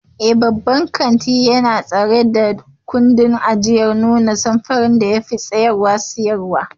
Eh, babban kanti yana tsara ɗakunan ajiya ta hanyar nuna samfuran da suka fi siyarwa.